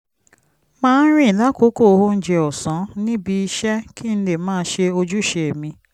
máa ń rìn lákòókò oúnjẹ ọ̀sán níbi iṣẹ́ kí n lè máa ṣe ojúṣe mi